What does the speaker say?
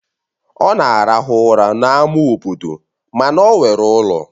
Ọ na-arahụ ụra n'ámá obodo mana ọ nwere ụlọ